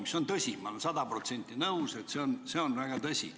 Ja see on tõsi, ma olen sada protsenti nõus, et see on väga ohtlik.